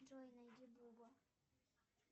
джой найди бубу